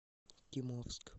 кимовск